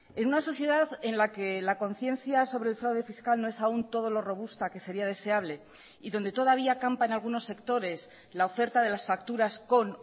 en una sociedad en la que la conciencia sobre el fraude fiscal no es aún todo lo robusta que sería deseable y donde todavía campan algunos sectores la oferta de las facturas con